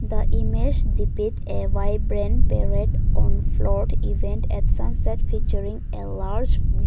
the image depict a vibrant parade event at sunset featuring a large blue--